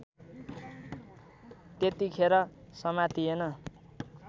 त्यतिखेर समातिएन